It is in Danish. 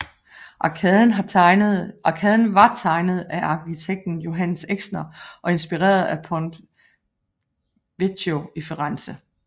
Arkaden var tegnet af arkitekten Johannes Exner og inspireret af Ponte Vecchio i Firenze